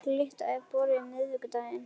Glytta, er bolti á miðvikudaginn?